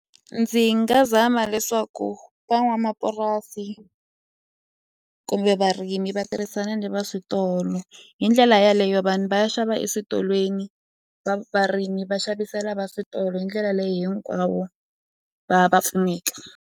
Ndzi nga zama leswaku van'wamapurasi kumbe varimi va tirhisana ni va switolo hi ndlela yeleyo vanhu va ya xava eswitolweni varimi va xavisela va switolo hindlela leyi hinkwavo va va pfuneka.